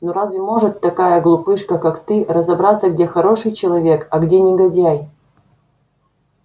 ну разве может такая глупышка как ты разобраться где хороший человек а где негодяй